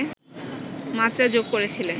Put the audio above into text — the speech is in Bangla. মাত্রা যোগ করেছিলেন